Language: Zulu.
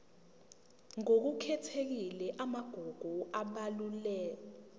ngokukhethekile amagugu abalulwe